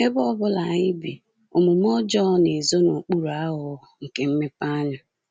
Ebe ọ bụla anyị bi, omume ọjọọ na-ezo n’okpuru aghụghọ nke mmepeanya.